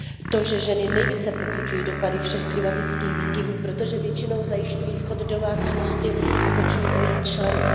to, že ženy nejvíce pociťují dopady všech klimatických výkyvů, protože většinou zajišťují chod domácnosti a pečují o její členy.